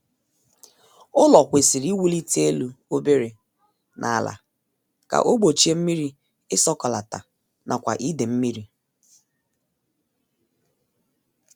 Ụlọ kwesịrị iwulite elu obere n' ala ka o gbochie mmiri isọkọlata nakwa ide mmiri